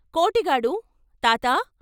కోటిగాడు " తాతా!